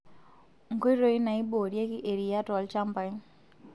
Nkoitoi naaiboorieki eriyiaa tolchambai;